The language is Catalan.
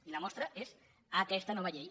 i la mostra n’és aquesta nova llei